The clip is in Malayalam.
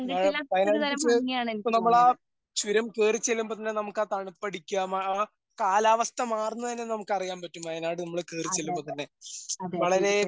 ആ വയനാടിന്റെ ചെ ഇപ്പോ നമ്മളാ ചുരം കേറി ചെല്ലുമ്പോൾ തന്നെ നമുക്ക് ആ തണുപ്പ് അടിക്കാ മ ആ കാലാവസ്ഥ മാറുന്നത് തന്നെ നമുക്ക് അറിയാൻ പറ്റും വയനാട് നമ്മൾ കേറി ചെല്ലുമ്പോൾ തന്നെ. വളരെ